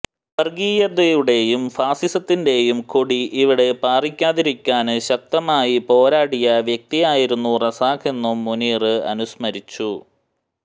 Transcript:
വര്ഗീയതയുടെയും ഫാസിസത്തിന്റെയും കൊടി ഇവിടെ പാറിക്കാതിരിക്കാന് ശക്തമായി പോരാടിയ വ്യക്തിയായിരുന്നു റസാക്ക് എന്നും മുനീര് അനുസ്മരിച്ചു